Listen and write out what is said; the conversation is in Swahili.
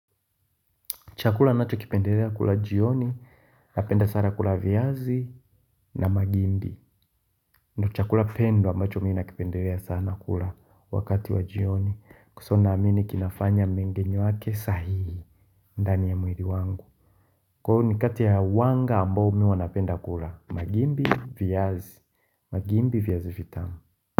Chakula nacho kipendelea kula jioni, napenda sana kula viazi na mahindi. Nichakula pendo ambacho mimi na kipendelea sana kula wakati wa jioni. Kwa sababu na amini kinafanya mengine yake sahihi, ndani ya mwili wangu. Kwa ni kati ya wanga ambao mimi hunapenda kula, mahindi viazi. Mahindi viazi vitamu.